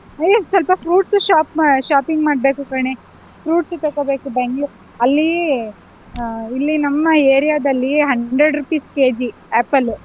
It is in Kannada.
ಹೇ ಸ್ವಲ್ಪ fruits shop ಮಾಡ್~ shopping ಮಾಡ್ಬೇಕು ಕಣೇ, fruits ತಕೊಳ್ಬೇಕು Bang~ . ಅಲ್ಲಿ ಅಹ್ ಇಲ್ಲಿ ನಮ್ಮ area ದಲ್ಲಿ hundred rupees KG apple .